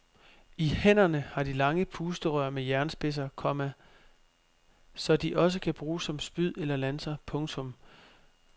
I hænderne har de lange pusterør med jernspidser, komma så de også kan bruges som spyd eller lanser. punktum